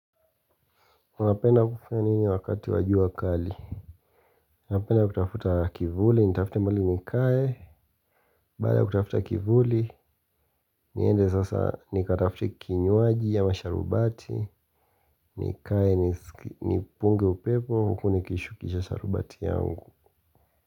Unapenda kufanya nini wakati wa jua kali? Napenda kutafuta kivuli, nitafute mahali nikae, baada ya kutafuta kivuli, niende sasa nikatafute kinywaji ama sharubati, nikae, nipunge upepo, huku nikishukisha sharubati yangu.